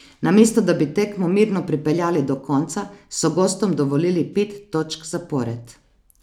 Namesto da bi tekmo mirno pripeljali do konca, so gostom dovolili pet točk zapored.